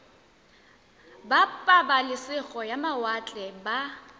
ba pabalesego ya mawatle ba